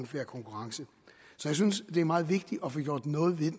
konkurrence så jeg synes det er meget vigtigt at få gjort noget ved